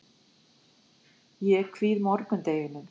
Ég kvíði morgundeginum.